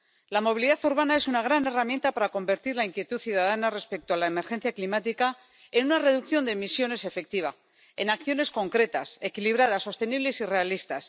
La movilidad urbana es una gran herramienta para convertir la inquietud ciudadana respecto a la emergencia climática en una reducción de emisiones efectiva, en acciones concretas, equilibradas, sostenibles y realistas.